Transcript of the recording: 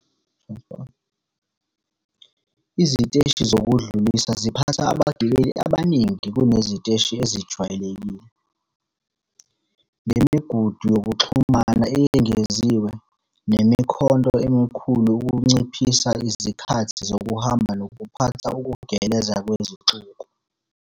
Iziteshi zokudlulisa ziphatha abagibeli abaningi kuneziteshi ezijwayelekile, ngemigudu yokuxhuma eyengeziwe nemikhonto emikhulu ukunciphisa izikhathi zokuhamba nokuphatha ukugeleza kwesixuku.